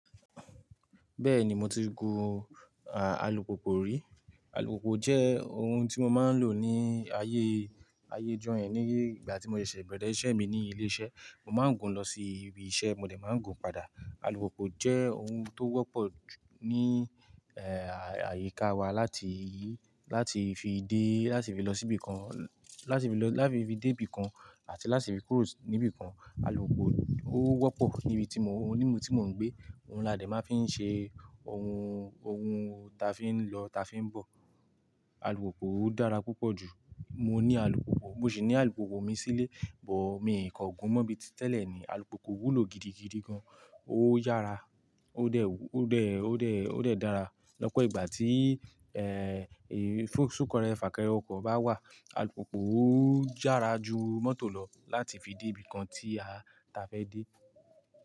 Bẹ́ẹ̀ni mo ti gun, àlùpùpù rí. Àlùpùpù jẹ́ ohun tí mo máa ń lò ní ayé, ayé ijó yẹn nígbà tí mo ṣèṣè bẹ̀rẹ̀ iṣẹ́ mi ní ilé iṣẹ́. Mo máa ń gun lọ sí ibi iṣẹ́, mo dẹ̀ má ń gun padà. Àlùpùpù jẹ́ ohun tó wọ́pọ̀ jù ní, ẹ́, àyíká wa láti, láti fi dé, láti fi lọ síbi kan, láti fi lọ, láti fi dé ibìkan àti láti fi kúrò níbi kan. Àlùpùpù ó wọ́pọ̀ níbi tí mo, níbi tí mò ń gbé. Ohun là dẹ̀ máa fi ń ṣe, ohun, ohun ta fi ń lọ, ta fi ń bọ̀. Àlùpùpù ó dára púpọ̀ jù. Mo ní àlùpùpù, mo sì ní àlùpùpù mi sílé, bọ̀ mi kò gun mọ́ bíi tẹ́lẹ̀ ni. Àlùpùpù wú lo gidigidi gan. Ó yára, ó dẹ̀, ó dẹ̀, ó dẹ̀ dára. Lọ́pọ̀ ìgbà tí, ẹ́, ẹ, sún kẹrẹ́, fàkẹrẹ ọkọ̀ bá wà, àlùpùpù ó yára ju mọ́tò lọ láti fi dé ibìkan tí a, ta fẹ́ dé.